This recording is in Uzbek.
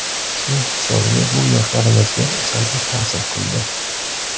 Shuning hisobiga bu yoshlarimizga salbiy ta’sir qildi.